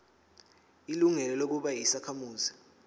ilungelo lokuba yisakhamuzi